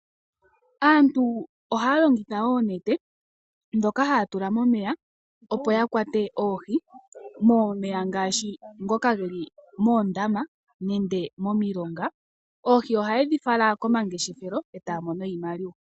Aantu ohaya longitha oonete dhoka haya tula momeya opo yakwate oohi momeya ngaashi ngoka geli moondama nenge momilonga. Oohi ohaye dhifala komangeshefele etaya mono iimaliwa.